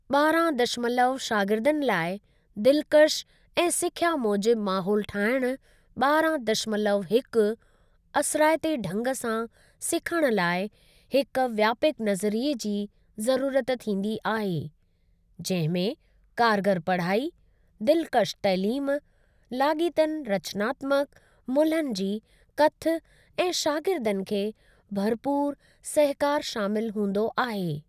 ॿारहां दशमलव शागिर्दनि लाइ दिलकश ऐं सिख्या मूजिबु माहोलु ठाहिणु ॿारहां दशमलव हिकु असराइते ढंग सां सिखण लाइ हिक व्यापकु नज़रिये जी ज़रूरत थींदी आहे, जहिं में कारगर पढ़ाई, दिलकश तइलीम, लाॻीतनि रचनात्मक मुल्हनि जी कथ ऐं शागिर्दनि खे भरपूर सहकार शामिल हूंदो आहे।